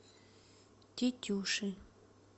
тетюши